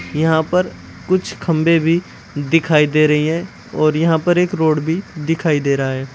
यहां पर कुछ खंभे भी दिखाई दे रहीं है और यहां पर एक रोड भी दिखाई दे रहा है।